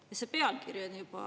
No mis mul on "peaministrile" öelda?